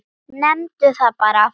Nefndu það bara.